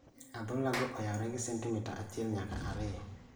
Adhola go oyaore gi sentimita achiel nyaka ariyo